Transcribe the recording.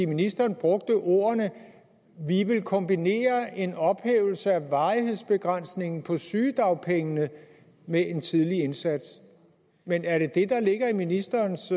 ministeren brugte ordene vi vil kombinere en ophævelse af varighedsbegrænsningen på sygedagpengene med en tidlig indsats men er det det der ligger i ministerens